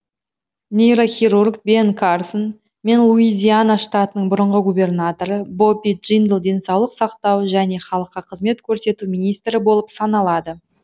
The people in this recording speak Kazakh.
нейрохирург бен карсон мен луизиана штатының бұрынғы губернаторы бобби джиндл денсаулық сақтау және халыққа қызмет көрсету министрі болып саналады